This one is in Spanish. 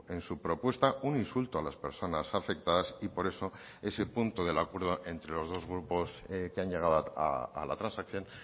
en su propuesta un insulto a las personas afectadas y por eso ese punto del acuerdo entre los dos grupos que han llegado a la transacción